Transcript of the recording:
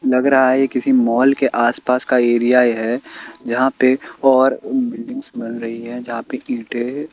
लग रहा है किसी माॅल के आस पास का एरिया ये है जहां पे और बिल्डिंग बन रही है जहां पे इंटे--